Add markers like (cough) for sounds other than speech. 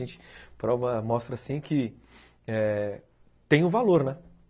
A gente (unintelligible) mostra, assim, que tem um valor, né?